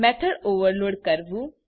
method overload કરવું